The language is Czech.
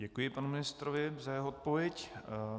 Děkuji panu ministrovi za jeho odpověď.